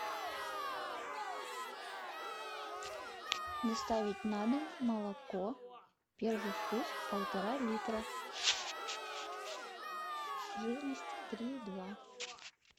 доставить на дом молоко первый вкус полтора литра жирность три и два